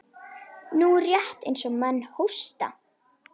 Nú, rétt eins og menn hósta.